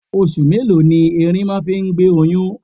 Oṣù mélòó ni ẹrin máa ń fi gbé oyún?